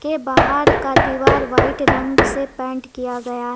के बाहर का दीवार वाइट रंग से पेंट किया गया--